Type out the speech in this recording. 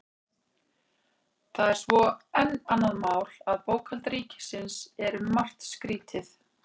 Það er svo enn annað mál að bókhald ríkisins er um margt skrýtið.